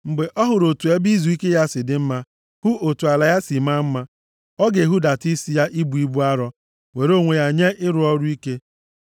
Mgbe ọ hụrụ otu ebe izuike ya si dị mma, hụ otu ala ya si maa mma, ọ ga-ehudata isi ya ibu ibu arụ; were onwe ya nye ịrụ ọrụ ike.